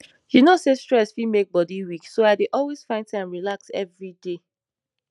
you know say stress fit make bodi weak so i dey always find time relax every day